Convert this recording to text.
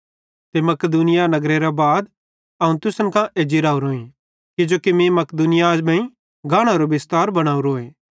ते मकिदुनिया गानेरे बाद अवं तुसन कां एज्जी रावरोईं किजोकि मीं मकिदुनिया मेइं गानेरो बिस्तार बनोरोए